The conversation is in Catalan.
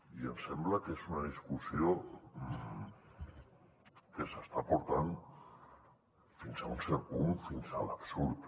i em sembla que és una discussió que s’està portant fins a un cert punt fins a l’absurd